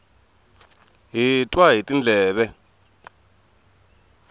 hi twa hi tindleve